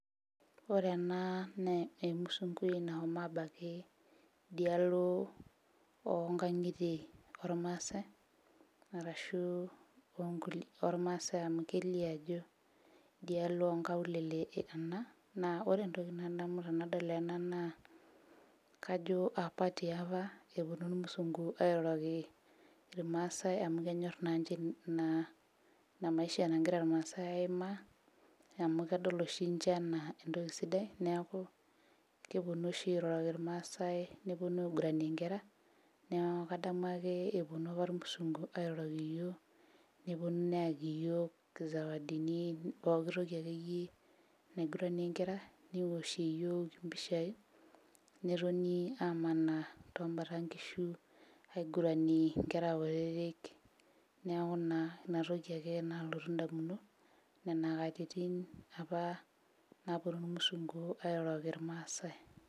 Ore ena naa emusungui nahomo abaki idialo onkang'itie ormaasae arashu onkulie ormaasae amu kelio ajo idialo onkaulele ena naa ore entoki nadamu tanadol ena naa kajo apa tiapa eponu irmusungu airoroki irmaasae amu kenyorr naanche naa ina maisha nagira irmaasae aimaa amu kedol oshi inche enaa entoki sidai neeku keponu oshi airoroki irmaasae neponu aiguranie inkera neaku kadamu ake eponu apa irmusungu airoroki iyiok neponu neyaki iyiok izewadini poki toki akeyie naiguranie inkera newoshie iyiok impishai netoni amanaa tombata inkishu aiguranie inkera kutitik neeku naa inatoki ake nalotu indamunot nena katitin apa naponu irmusungu airoroki irmaasae.